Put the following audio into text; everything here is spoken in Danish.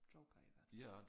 Joker i hvert fald